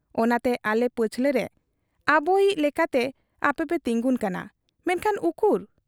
ᱚᱱᱟᱛᱮ ᱟᱞᱮ ᱯᱟᱹᱪᱷᱞᱟᱹᱨᱮ ᱟᱵᱚᱭᱤᱡ ᱞᱮᱠᱟᱛᱮ ᱟᱯᱮᱯᱮ ᱛᱤᱸᱜᱩᱱ ᱠᱟᱱᱟ ᱾ ᱢᱮᱱᱠᱷᱟᱱ ᱩᱠᱩᱨ ?